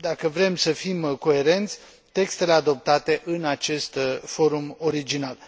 dacă vrem să fim coerenți, textele adoptate în acest forum original.